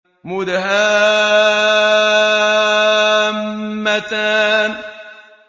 مُدْهَامَّتَانِ